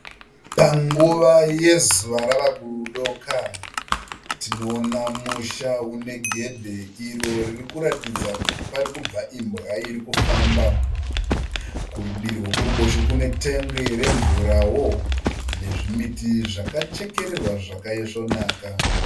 Panguva yezuva rava kudoka, tinoona musha une gedhe iro riri kuratidza kuti pari kubva imbwa iri kufamba. Kurudivi rwekuruboshwe kune tengi remvurawo nezvimiti zvakachekererwa zvakaisvonaka.